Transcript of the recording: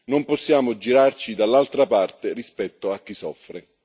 Non possiamo girarci dall'altra parte rispetto a chi soffre.